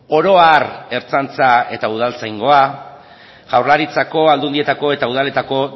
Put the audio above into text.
oro har ertzaintza eta udaltzaingoa jaurlaritzako aldundietako eta udaletako